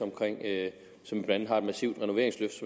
som blandt andet har et massivt renoveringsløft